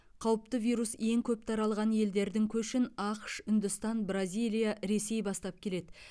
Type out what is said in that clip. қауіпті вирус ең көп таралған елдердің көшін ақш үндістан бразилия ресей бастап келеді